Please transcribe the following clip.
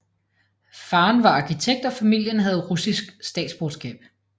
Faren var arkitekt og familien havde russisk statsborgerskab